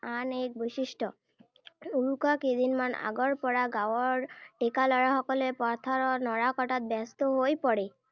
আন এক বৈশিষ্ট্য। উৰুকাৰ কেইদিনমানৰ আগৰ পৰা গাঁৱৰ ডেকা ল’ৰাসকলে পথাৰৰ নৰা কটাত ব্যস্ত হৈ পৰে।